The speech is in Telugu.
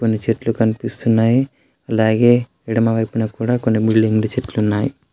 కొన్ని చెట్లు కనిపిస్తున్నాయి అలాగే ఎడమ వైపున కుడా కొన్ని చెట్లు ఉన్నాయి.